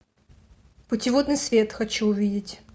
путеводный свет хочу увидеть